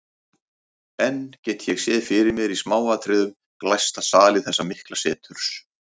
Enn get ég séð fyrir mér í smáatriðum glæsta sali þessa mikla seturs.